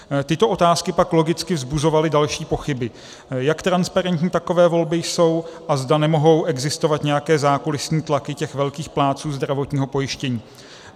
Tyto otázky pak logicky vzbuzovaly další pochyby, jak transparentní takové volby jsou a zda nemohou existovat nějaké zákulisní tlaky těch velkých plátců zdravotního pojištění.